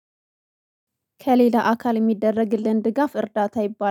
ከሌላ አካል እሚደረግልን ድጋፍ እርዳታ ይባላል